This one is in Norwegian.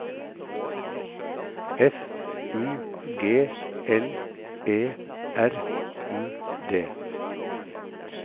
F U G L E R U D